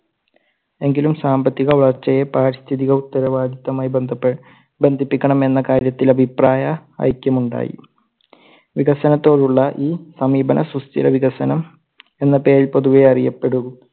എങ്കിലും സാമ്പത്തിക വളർച്ചയെ പാരിസ്ഥിതിക ഉത്തരവാദിത്യമായി ബന്ധപ്പെ ബന്ധിപ്പിക്കണം എന്ന കാര്യത്തിൽ അഭിപ്രായ ഐക്യം ഉണ്ടായി. വികസനത്തോടുള്ള ഈ സമീപനസുസ്ഥിര വികസനം എന്ന പേരിൽ പൊതുവെ അറിയപ്പെടു.